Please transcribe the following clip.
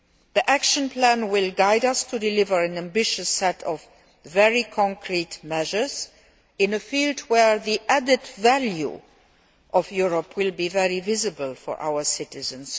The action plan will guide us in delivering an ambitious set of very concrete measures in a field where the added value of Europe will be very visible to our citizens.